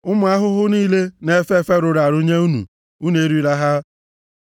Ụmụ ahụhụ niile na-efe efe rụrụ arụ nye unu, unu erila ha,